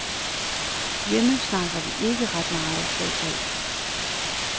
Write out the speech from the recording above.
Hjemme snakker vi ikke ret meget fodbold.